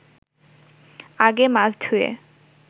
আগে মাছ ধুয়ে